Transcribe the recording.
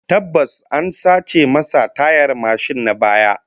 Tabbas, an sace masa tayar mashin na baya